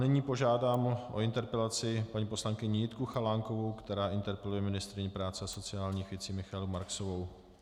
Nyní požádám o interpelaci paní poslankyni Jitku Chalánkovou, která interpeluje ministryni práce a sociálních věcí Michaelu Marksovou.